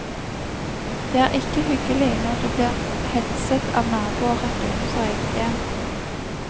Det er ikke hyggelig når du blir hetset av naboer rett utenfor eget hjem.